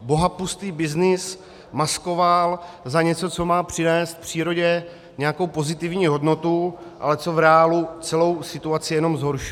bohapustý byznys maskoval za něco, co má přinést přírodě nějakou pozitivní hodnotu, ale co v reálu celou situaci jenom zhoršuje.